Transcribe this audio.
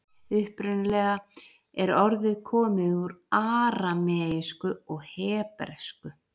Upprunalega er orðið komið úr arameísku og hebresku.